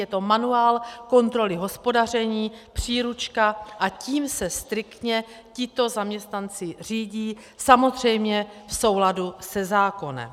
Je to manuál kontroly hospodaření, příručka, a tím se striktně tito zaměstnanci řídí, samozřejmě v souladu se zákonem.